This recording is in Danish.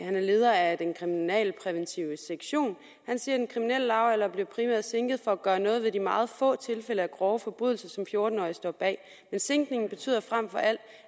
er leder af den kriminalpræventive sektion siger den kriminelle lavalder blev primært sænket for at gøre noget ved de meget få tilfælde af grove forbrydelser som fjorten årige står bag men sænkningen betyder frem for alt